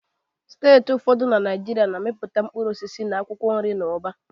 Steeti ụfọdụ na Naịjirịa na-amịpụta mkpụrụ osisi na akwụkwọ nri n'ụba